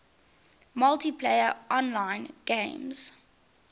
multiplayer online games